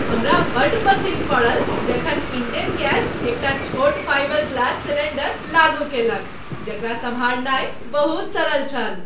हमरा बड्ड पसिन्न पड़ल जखन इंडेन गैस एकटा छोट फाइबर ग्लास सिलेंडर लागू कएलक जकरा सम्हारनाय बहुत सरल छल।